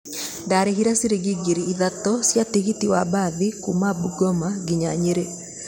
Ndaarĩhire ciringi ngiri ithatũ cia tigiti wa mbathi kuuma bungoma nginya Nyĩrĩ.